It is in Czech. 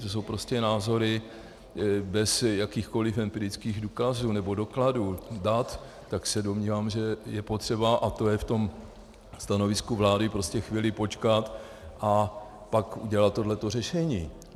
To jsou prostě názory bez jakýchkoliv empirických důkazů nebo dokladů, dat, tak se domnívám, že je potřeba, a to je v tom stanovisku vlády, prostě chvíli počkat a pak udělat toto řešení.